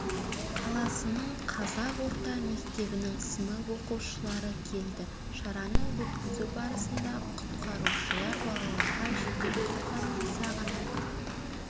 қаласының қазақ орта мектебінің сынып оқушылары келді шараны өткізу барысында құтқарушылар балаларға жедел құтқару жасағының